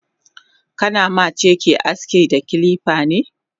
Kana ma cake aski da kilifane?